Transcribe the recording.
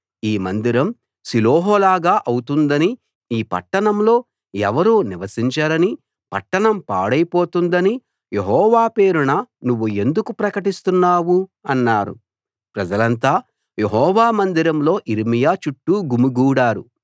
ఈ మందిరం షిలోహులాగా అవుతుందనీ ఈ పట్టణంలో ఎవరూ నివసించరనీ పట్టణం పాడైపోతుందనీ యెహోవా పేరున నువ్వు ఎందుకు ప్రకటిస్తున్నావు అన్నారు ప్రజలంతా యెహోవా మందిరంలో యిర్మీయా చుట్టూ గుమికూడారు